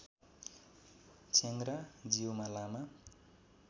च्याङ्ग्रा जीउमा लामा